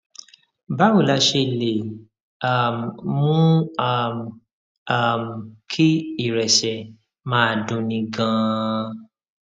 báwo la ṣe lè um mú um um kí ìrẹsè máa dunni ganan